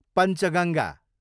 Panchganga